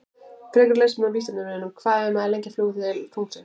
Frekara lesefni á Vísindavefnum: Hvað er maður lengi að fljúga til tunglsins?